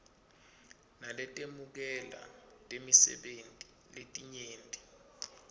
naletemukela tisebenti letinyenti